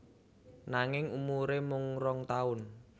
Nanging umuré mung rong taun